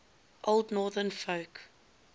old northern folk